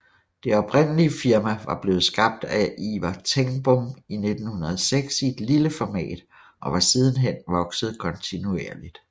Det oprindelige firma var blevet skabt af Ivar Tengbom i 1906 i lille format og var siden hen vokset kontinuerligt